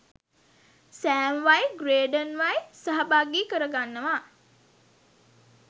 සෑම්වයි ග්‍රේඩන්වයි සහභාගි කරවගන්නවා